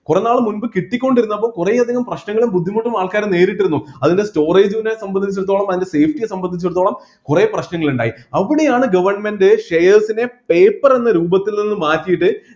കുറെ നാള് മുൻപ് കിട്ടികൊണ്ടിരുന്നപ്പോ കുറെ അധികം പ്രശ്‌നങ്ങളും ബുദ്ധിമുട്ടും ആൾക്കാര് നേരിട്ടിരുന്നു അതിൻ്റെ storage നെ സംബന്ധിച്ചിടത്തോളം അതിൻ്റെ page നെ സംബന്ധിച്ചിടത്തോളം കുറെ പ്രശ്‌നങ്ങൾ ഇണ്ടായി അവിടെയാണ് government shares നെ paper എന്ന രൂപത്തിൽ നിന്ന് മാറ്റിയിട്ട്